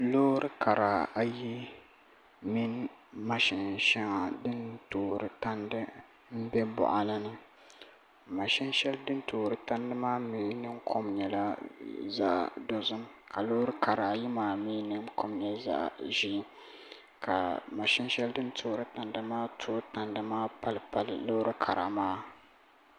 Loori kara ayi mini mashin shɛŋa din toori tandi n bɛ boɣali ni mashin shɛli din toori tandi maa mii ningbuni kom nyɛla zaɣ dozim ka loori kara ayi maa mii ningbuni kom nyɛ zaɣ ʒiɛ ka mashin shɛli din toori tandi maa tooi tandi maa pali loori kara maa